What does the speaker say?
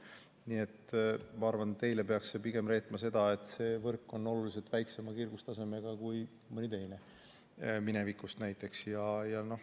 Nii et ma arvan, et teile peaks see pigem reetma seda, et see võrk on oluliselt väiksema kiirgustasemega kui mõni teine, minevikust näiteks.